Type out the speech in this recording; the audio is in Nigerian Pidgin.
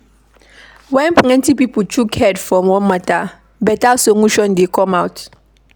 When plenty pipo chook head for one matter, better solution dey come out